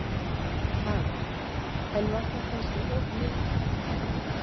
Karen: En var það kannski of mikið?